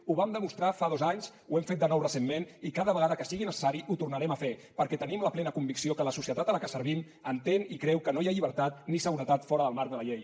ho vam demostrar fa dos anys ho hem fet de nou recentment i cada vegada que sigui necessari ho tornarem a fer perquè tenim la plena convicció que la societat a la que servim entén i creu que no hi ha llibertat ni seguretat fora del marc de la llei